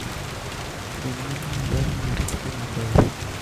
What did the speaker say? Winy mang'eny dwaro ni oritgi maber.